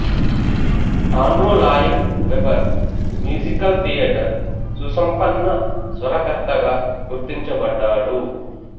Andrew Lloyd Webber musical theatre సుసంపన్న స్వరకర్తగా గుర్తించబడ్డాడు